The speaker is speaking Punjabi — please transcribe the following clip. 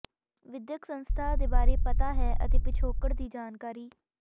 ਵਿਦਿਅਕ ਸੰਸਥਾ ਦੇ ਬਾਰੇ ਪਤਾ ਹੈ ਅਤੇ ਪਿਛੋਕੜ ਦੀ ਜਾਣਕਾਰੀ